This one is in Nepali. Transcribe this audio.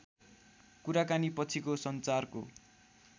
कुराकानी पछिको सञ्चारको